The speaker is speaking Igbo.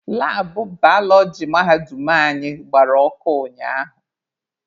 Labụ balọọji mahadum anyị gbara ọkụ ụnyaahụ.